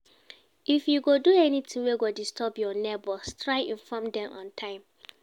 If you go do anything wey go disturb your neighbors try inform dem on time